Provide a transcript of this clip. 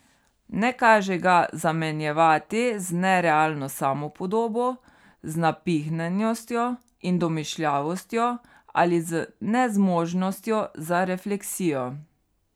Ne kaže ga zamenjevati z nerealno samopodobo, z napihnjenostjo in domišljavostjo ali z nezmožnostjo za refleksijo.